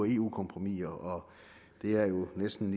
eu kompromiser og det er jo næsten